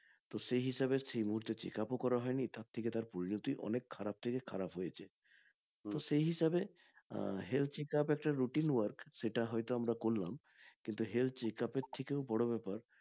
তো সেই হিসেবে সেই মুহূর্তে checkup ও করা হয়নি তার থেকে তার পরিণতি অনেক খারাপ থেকে খারাপ হয়েছে তো সেই হিসেবে আহ health checkup একটা routine work সেটা হয়তো আমরা করলাম কিন্তু health checkup এর থেকেও বড় ব্যাপার